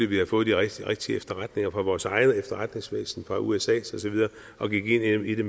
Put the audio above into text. vi havde fået de rigtige rigtige efterretninger fra vores eget efterretningsvæsen fra usas og så videre og gik ind i det